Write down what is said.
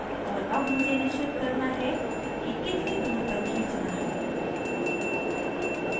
और अब मुझे निशिचित करना है कि कितनी दूर तक खींचना है